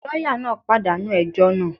Lọ́yà náà pàdánù ẹjọ́ náà.